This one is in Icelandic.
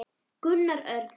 Gunnar Örn.